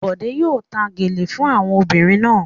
Bọ̀dé yóò ta gèlè fún àwọn obìnrin náà.